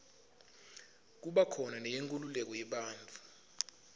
kuba khona neyenkululeko yebantfu